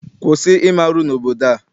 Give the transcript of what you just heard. Kwụsị ime arụ n'obodo a!